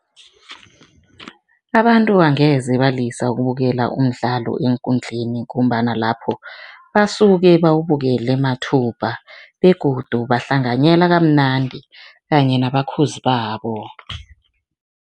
Abantu angeze balisa ukubukela umdlalo eenkundleni ngombana lapho, basuke bawubukele mathupa begodu bahlanganyela kamnandi kanye nabakhozi babo.